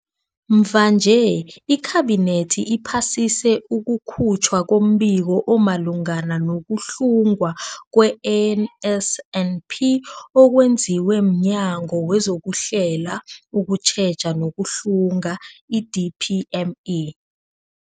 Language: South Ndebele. Mvanje, iKhabinethi iphasise ukukhutjhwa kombiko omalungana no-kuhlungwa kwe-NSNP okwenziwe mNyango wezokuHlela, ukuTjheja nokuHlunga, i-DPME.